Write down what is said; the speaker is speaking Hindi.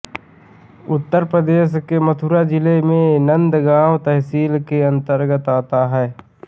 उत्तर प्रदेश के मथुरा जिले में नंदगाँव तहसील के अंतर्गत आता है